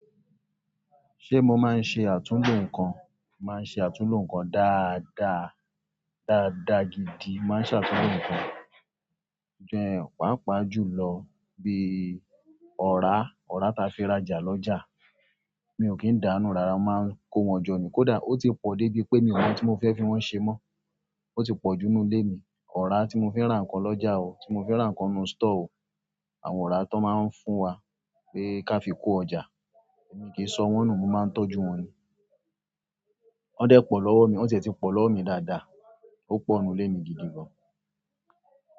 Ṣé mo máa ń ṣe àtúnlò nǹkan? Màá ń ṣe àtúnlò nǹkan dáada, dáada gidi. Màá ń ṣàtúnlò nǹkan ju han paapa ju lọ bi ọ̀rá, ọ̀rá ta fi rajà lọ́jà. Mi ò kí ń dáánú rara, màá ń kó wọn jọ ní kódà ó ti pọ̀ débi pé mi ò mọ oun tí mo fẹ́ fi wọ́n ṣe mọ́. Ó ti pọ̀ jù nínú ilé mi. Ọ̀rá tí mo fi ra nǹkan lọ́jà o, tí mo fi ra nǹkan nu store o, àwọn ọ̀rá tó máa ń fún wa pé ká fi kó ọjà, èmi kì í sọ wọ́n nù, mo máa ń tọ́jú wọn ni. Wọ́n dẹ́ pọ̀ lọ́wọ́ mi, wọ́n tie ti pọ̀ lọ́wọ́ mi dáadáa. Ó pọ̀ nínú ilé mi gidi gan.